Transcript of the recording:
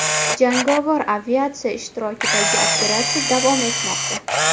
Jangovar aviatsiya ishtirokidagi operatsiya davom etmoqda.